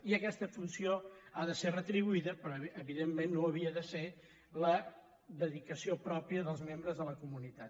i aquesta funció ha de ser retribuïda però evidentment no ho havia de ser la dedicació pròpia dels membres de la comunitat